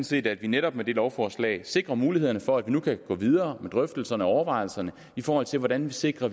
set at vi netop med det lovforslag sikrer mulighederne for at vi nu kan gå videre med drøftelserne og overvejelserne i forhold til hvordan vi sikrer